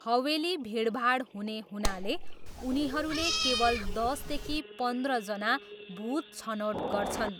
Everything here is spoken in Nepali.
हवेली भिडभाड हुने हुनाले उनीहरूले केवल दसदेखि पन्ध्रजना भुत छनौट गर्छन्।